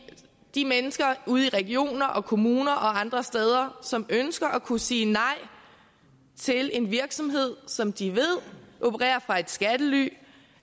de mennesker ude i regioner og kommuner og andre steder som ønsker at kunne sige nej til en virksomhed som de ved opererer fra et skattely